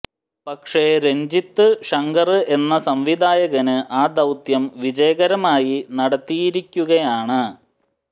പക്ഷേ രഞ്ജിത് ശങ്കര് എന്ന സംവിധായകന് ആ ദൌത്യം വിജയകരമായി നടത്തിയിരിക്കുകയാണ്